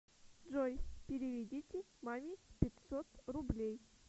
джой переведите маме пятьсот рублей